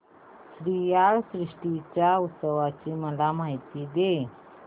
श्रीयाळ षष्टी च्या उत्सवाची मला माहिती दे